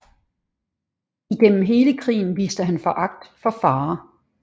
Igennem hele krigen viste han foragt for fare